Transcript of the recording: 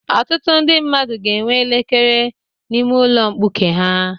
Ọtụtụ ndị mmadụ ga-enwe elekere n'ime ụlọ mkpuke ha.